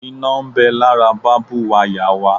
Iná ń bẹ lára bábú wayà wa